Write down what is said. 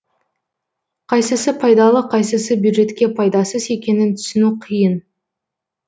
қайсысы пайдалы қайсысы бюджетке пайдасыз екенін түсіну қиын